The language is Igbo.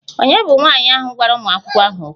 Ònye bụ nwanyị ahụ gwara ụmụ akwụkwọ ahụ okwu?